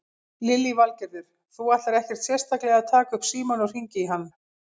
Lillý Valgerður: Þú ætlar ekkert sérstaklega að taka upp símann og hringja í hann?